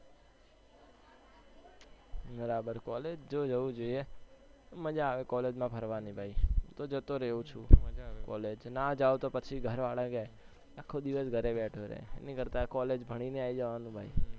બરાબર college તો જાઉં જોઈએ મજા આવે college માં ફરવાની ભાઈ, તો જતો રવ છું college નાં જાવ તો પછી ઘર વાળા કહે આલ્હો દિવેસ ઘરે બેઠો રહે છે, એના કરતા college ભણીને આવી જવાનું ભાઈ,